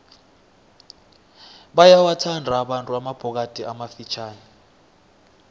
bayawathanda abantu amabhokadi amafitjhani